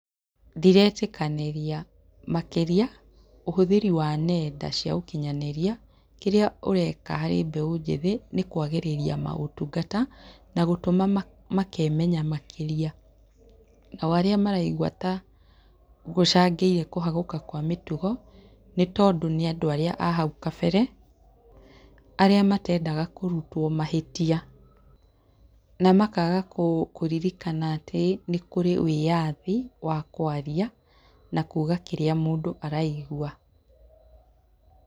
Ndiretĩkanĩria makĩria ũhũthĩri wa nenda cia ũkinyanĩria, kĩrĩa ũreka he mbeũ njĩthĩ nĩ kwagĩrĩria maũtungata na gũtũma makemenya makĩria. Nao arĩa maraigua tagũcangĩire kũhagũka kwa mĩtugo, nĩtondũ nĩ andũ arĩa ahau kabere, arĩa matendaga kũrutwo mahĩtia. Na makaga kũririkana atĩ nĩkũrĩ wĩathi wa kwaria na kuuga kĩrĩa mũndũ araigua.